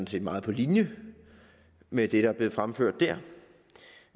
set meget på linje med det der er blevet fremført